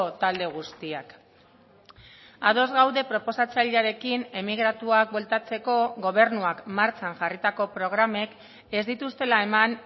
talde guztiak ados gaude proposatzailearekin emigratuak bueltatzeko gobernuak martxan jarritako programek ez dituztela eman